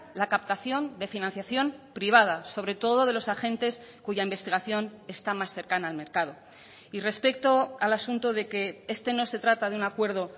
la captación de financiación privada sobre todo de los agentes cuya investigación está más cercana al mercado y respecto al asunto de que este no se trata de un acuerdo